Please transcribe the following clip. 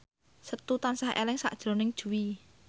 Setu tansah eling sakjroning Jui